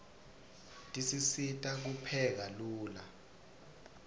tisisita kupheka lula